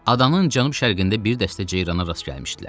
Adanın cənub-şərqində bir dəstə ceyrana rast gəlmişdilər.